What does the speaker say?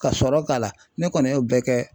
Ka sɔrɔ k'a la ne kɔni y'o bɛɛ kɛ